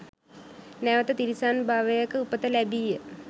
නැවත තිරිසන් භවයක උපත ලැබීය.